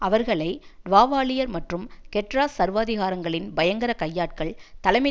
அவர்களை வாவாலியர் மற்றும் கெட்ராஸ் சர்வாதிகாரங்களின் பயங்கர கையாட்கள் தலைமை